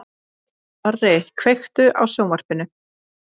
Snorri, kveiktu á sjónvarpinu.